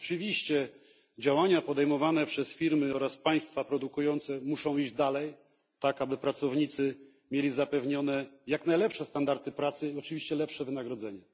Oczywiście działania podejmowane przez firmy oraz państwa produkujące muszą iść dalej, tak aby pracownicy mieli zapewnione jak najlepsze standardy pracy i oczywiście lepsze wynagrodzenie.